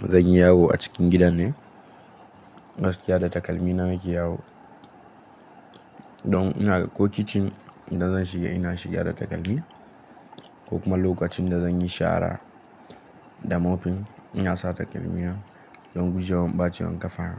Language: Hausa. zan yi yawo a cikin gidan ne, gaskiya da takalmi na nake yawo. Don ina, ko kicin idan zan shiga ina shiga da takalmi ko kuma lokacin da zan yi shara da mofin ina sa takalmi don gujewa ɓaciwan kafa.